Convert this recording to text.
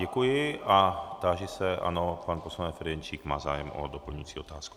Děkuji a táži se, ano, pan poslanec Ferjenčík má zájem o doplňující otázku.